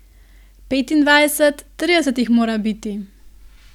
Petindvajset, trideset jih mora biti.